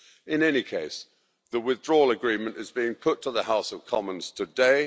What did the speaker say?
In any case, the Withdrawal Agreement is being put to the House of Commons today.